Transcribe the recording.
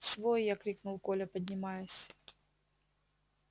свой я крикнул коля поднимаясь